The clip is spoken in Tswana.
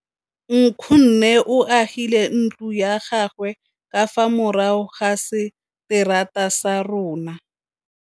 Nkgonne o agile ntlo ya gagwe ka fa morago ga seterata sa rona.